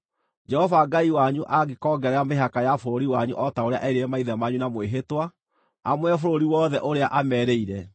Jehova Ngai wanyu angĩkongerera mĩhaka ya bũrũri wanyu o ta ũrĩa erĩire maithe manyu na mwĩhĩtwa, amũhe bũrũri wothe ũrĩa aamerĩire,